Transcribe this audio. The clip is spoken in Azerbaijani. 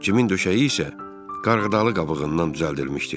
Cimin döşəyi isə qarğıdalı qabığından düzəldilmişdi.